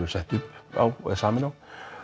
sett upp á og samin á